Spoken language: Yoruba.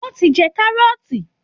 Wọ́n ti jẹ kárọ́ọ̀tì